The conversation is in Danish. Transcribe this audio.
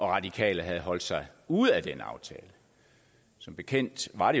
radikale havde holdt sig ude af den aftale som bekendt var